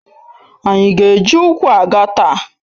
Ànyị ga eji ụkwụ aga taa?